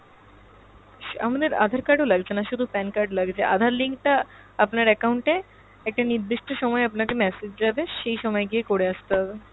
আমাদের aadhar card ও লাগছে না শুধু PAN card লাগছে। aadhar link টা আপনার account এ একটা নির্দিষ্ট সময়ে আপনাকে message যাবে সেই সময়ে গিয়ে করে আসতে হবে।